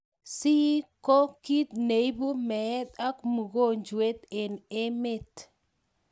Copd koo kiit ne ibuu meet ak mogonjweet eng ement